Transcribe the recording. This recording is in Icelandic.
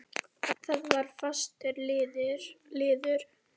Það var fastur liður.